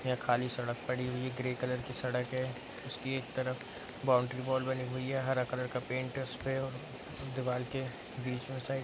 यह खाली सड़क पड़ी हुई है ग्रे कलर की सड़क है उसके एक तरफ बाउंड्री बोल बनी हुई है हरा कलर का पेंट है उसके दिवाल के बीच मे साइड --